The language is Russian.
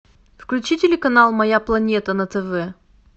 включи телеканал моя планета на тв